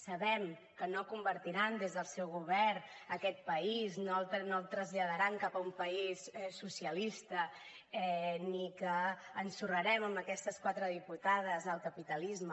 sabem que no convertiran des del seu govern aquest país no el traslladaran cap a un país socialista ni que ensorrarem amb aquestes quatre diputades el capitalisme